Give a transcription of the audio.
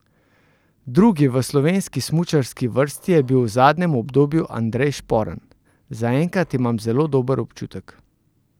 Drugi v slovenski smučarski vrsti je bil v zadnjem obdobju Andrej Šporn: 'Zaenkrat imam zelo dober občutek.